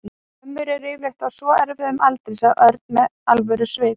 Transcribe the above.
Já, ömmur eru yfirleitt á svo erfiðum aldri sagði Örn með alvörusvip.